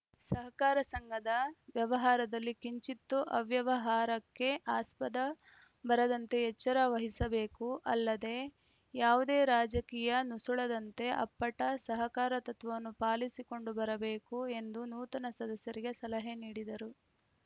ಸಹಕಾರ ಸಂಘದ ವ್ಯವಹಾರದಲ್ಲಿ ಕಿಂಚಿತ್ತೂ ಅವ್ಯವಹಾರಕ್ಕೆ ಆಸ್ಪದ ಬರದಂತೆ ಎಚ್ಚರ ವಹಿಸಬೇಕು ಅಲ್ಲದೆ ಯಾವುದೇ ರಾಜಕೀಯ ನುಸುಳದಂತೆ ಅಪ್ಪಟ ಸಹಕಾರ ತತ್ವವನ್ನು ಪಾಲಿಸಿಕೊಂಡು ಬರಬೇಕು ಎಂದು ನೂತನ ಸದಸ್ಯರಿಗೆ ಸಲಹೆ ನೀಡಿದರು